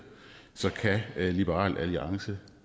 at liberal alliance